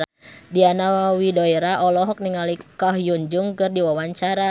Diana Widoera olohok ningali Ko Hyun Jung keur diwawancara